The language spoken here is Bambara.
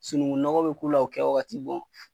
Sunuŋu nɔgɔ be k'u la o kɛwagati